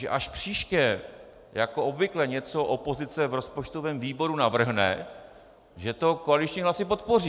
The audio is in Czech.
Že až příště jako obvykle něco opozice v rozpočtovém výboru navrhne, že to koaliční hlasy podpoří.